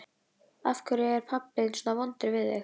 Af hverju er pabbi þinn svona vondur við þig?